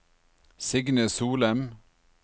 Signe Solem